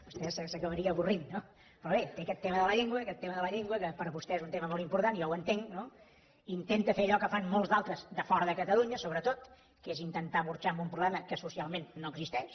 vostè s’acabaria avorrint no però bé té aquest tema de la llengua aquest tema de la llengua que per a vostè és un tema molt important i jo ho entenc no intenta fer allò que fan molts altres de fora de catalunya sobretot que és intentar burxar amb un problema que socialment no existeix